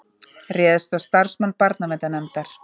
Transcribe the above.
Réðst á starfsmann barnaverndarnefndar